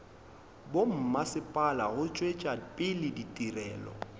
bommasepala go tšwetša pele ditirelo